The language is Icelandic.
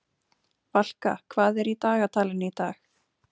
Valka, hvað er í dagatalinu í dag?